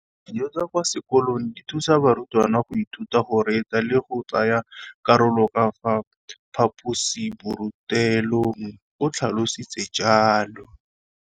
Dijo tsa kwa sekolong dithusa barutwana go ithuta, go reetsa le go tsaya karolo ka fa phaposiborutelong, o tlhalositse jalo.